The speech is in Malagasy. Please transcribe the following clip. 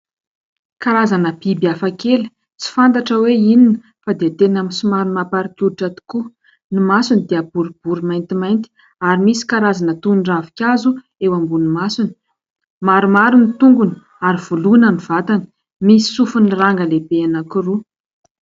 Karazana biby hafakely tsy fantatra hoe inona fa dia tena amin'ny somary mamparikoditra tokoa. Ny masony dia boribory maintimainty ary misy karazana toy ny ravinkazo eo ambonin'ny masony, maromaro ny tongony ary voloana ny vatana, misy sofiny ranga lehibe anankiroa.